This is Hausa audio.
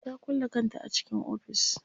Ta kulle kanta a cikin ofis.